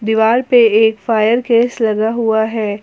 दीवाल पे एक फायर केस लगा हुआ है।